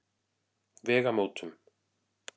Vegamótum